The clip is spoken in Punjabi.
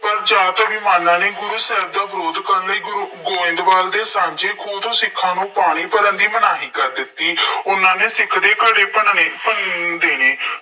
ਪਰ ਜ਼ਿਆਦਾਤਰ ਵਿਦਵਾਨਾਂ ਦੇ ਗੁਰੂ ਸਾਹਿਬ ਦਾ ਵਿਰੋਧ ਕਰਨ ਲਈ ਗੁਰੂ ਗੋਇੰਦਵਾਲ ਦੇ ਸ਼ਾਂਚੇ ਖੂਹ ਤੋਂ ਸਿੱਖਾਂ ਨੂੰ ਪਾਣੀ ਭਰਨ ਦੀ ਮਨਾਹੀ ਕਰ ਦਿੱਤੀ। ਉਹਨੇ ਸਿੱਖਾਂ ਦੇ ਘੜੇ ਭੰਨਣੇ, ਭੰਨ ਦੇਣੇ।